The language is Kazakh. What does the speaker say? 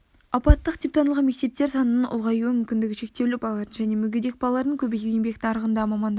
апаттық деп танылған мектептер санының ұлғаюы мүмкіндігі шектеулі балалардың және мүгедек балалардың көбеюі еңбек нарығында мамандарға